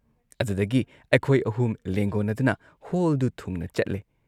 ꯑꯗꯨꯗꯒꯤ ꯑꯩꯈꯣꯏ ꯑꯍꯨꯝ ꯂꯦꯡꯒꯣꯟꯅꯗꯨꯅ ꯍꯣꯜꯗꯨ ꯊꯨꯡꯅ ꯆꯠꯂꯦ ꯫